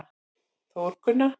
Þórgunna